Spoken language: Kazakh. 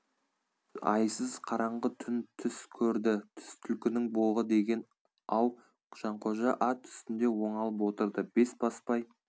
айсыз қараңғы түн түс көрді түс түлкінің боғы деген ау жанқожа ат үстінде оңалып отырды бесбасбай